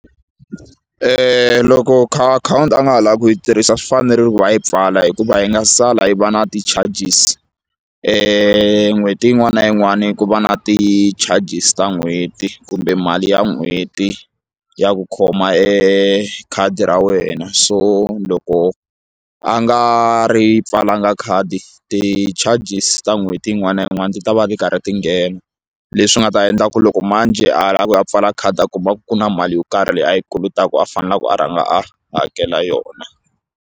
Loko akhawunti a nga ha lavi ku yi tirhisa swi fanerile ku va a yi pfala hikuva yi nga sala yi va na ti-charges n'hweti yin'wana na yin'wani ku va na ti-charges ta n'hweti kumbe mali ya n'hweti ya ku khoma e khadi ra wena so loko a nga ri pfalanga khadi ti-charges ta n'hweti yin'wana na yin'wana ti ta va ti karhi ti nghena leswi nga ta endla ku loko manjhe ala ku a pfala khadi a kuma ku na mali yo karhi leyi a yi kolotaku a faneleke a rhanga a hakela yona.